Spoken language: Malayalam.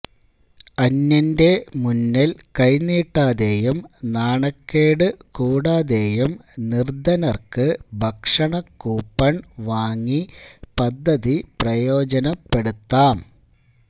അന്യനു മുന്നിൽ കൈനീട്ടാതെയും നാണക്കേടു കൂടാതെയും നിർധനർക്കു ഭക്ഷണ കൂപ്പൺ വാങ്ങി പദ്ധതി പ്രയോജനപ്പെടുത്താം